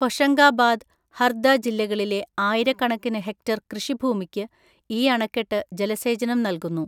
ഹൊഷങ്കാബാദ്, ഹർദ ജില്ലകളിലെ ആയിരക്കണക്കിന് ഹെക്ടർ കൃഷിഭൂമിക്ക് ഈ അണക്കെട്ട് ജലസേചനം നൽകുന്നു.